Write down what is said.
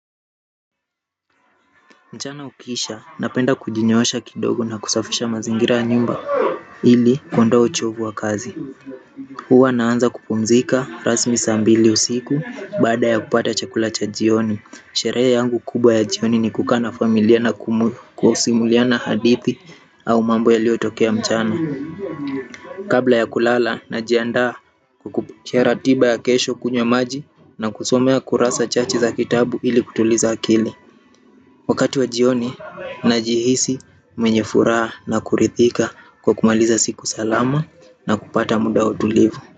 Mchana ukiisha napenda kujinyoosha kidogo na kusafisha mazingira ya nyumba ili kuondoa uchovu wa kazi. Huwa naanza kupumzika rasmi saa mbili usiku baada ya kupata chakula cha jioni. Sherehe yangu kubwa ya jioni ni kukaa na familia na kusimuliana hadithi au mambo yaliyotokea mchana. Kabla ya kulala najianda kupitia ratiba ya kesho kunywa maji na kusoma kurasa chache za kitabu ili kutuliza akili. Wakati wa jioni najihisi mwenye furaha na kuridhika kwa kumaliza siku salama na kupata mda wa utulivu.